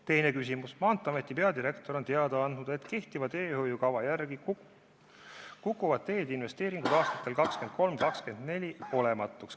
Teine küsimus: "Maanteeameti peadirektor on teada andnud, et kehtiva teehoiukava järgi kukuvad teede investeeringud aastatel 2023–2024 olematuks.